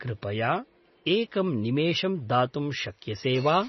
कृपया एकं निमेषं दातुं शक्यसेवा?